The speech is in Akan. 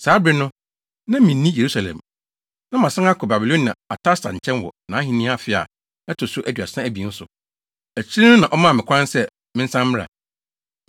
Saa bere no, na minni Yerusalem. Na masan kɔ Babiloniahene Artasasta nkyɛn wɔ nʼahenni afe a ɛto so aduasa abien so. Akyiri no na ɔmaa me kwan sɛ mensan mmra.